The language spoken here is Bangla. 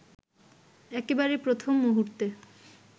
একেবারে প্রথম মূহুর্তে